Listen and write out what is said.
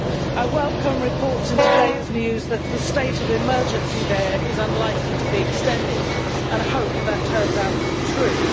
I welcome reports in today's news that the state of emergency there is unlikely to be extended, and I hope that turns out to be true.